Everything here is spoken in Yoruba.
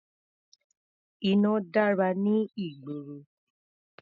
Iná dára ní ìgboro.